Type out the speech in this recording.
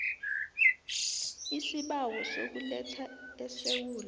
isibawo sokuletha esewula